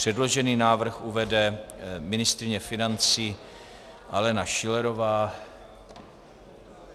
Předložený návrh uvede ministryně financí Alena Schillerová.